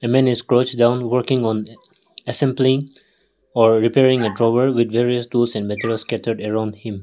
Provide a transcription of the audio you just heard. a man is crouch down working on assembling or repairing with various tools and materials scattered around him.